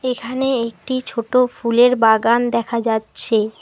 এখানে একটি ছোট ফুলের বাগান দেখা যাচ্ছে।